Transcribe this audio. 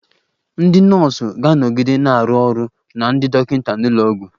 Ndị nọọsụ ga-anọgide na-arụ ọrụ na ndị dọkịta n'ụlọ ọgwụ